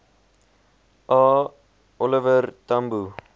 a oliver tambo